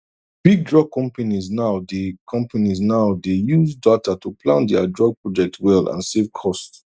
big drug companies now dey companies now dey use data to plan dia drug project well and save cost